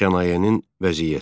Sənayenin vəziyyəti.